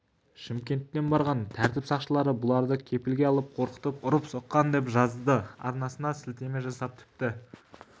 шымкенттен барған тәртіп сақшылары бұларды кепілге алып қорқытып ұрып-соққан деп жазады арнасына сілтеме жасап тіпті